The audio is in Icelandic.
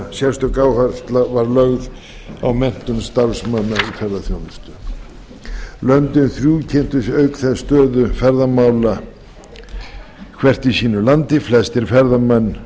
sérstök áhersla var lögð á menntun starfsmanna í ferðaþjónustu löndin þrjú kynntu auk þess stöðu ferðamála hvert í sínu landi flestir ferðamenn